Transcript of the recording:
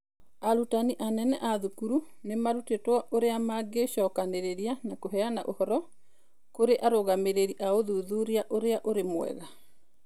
Arutani anene a thukuru nĩ marutĩtwo ũrĩa mangĩcokanĩrĩria na kũheana ũhoro kũrĩ arũgamĩrĩri a ũthuthuria ũrĩa ũrĩ mwega, (QASO).